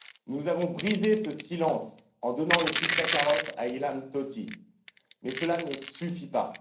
Nous avons brisé ce silence en donnant le prix Sakharov à Ilham Tohti, mais cela ne suffit pas.